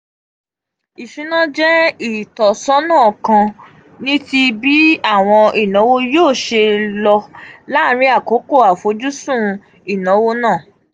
isuna jẹ itọsọna kan niti bii awọn inawo yoo ṣe lo um laarin akoko afojusun inawo naa.